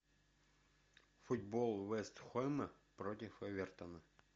футбол вест хэма против эвертона